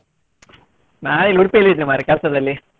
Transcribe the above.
ನಾ ಇಲ್ಲಿ Udupi ಯಲ್ಲಿ ಇದ್ದೆ ಮಾರ್ರೆ ಕೆಲಸದಲ್ಲಿ.